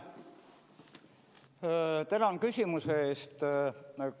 Tänan küsimuse eest!